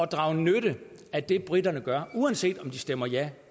drage nytte af det briterne gør uanset om de stemmer ja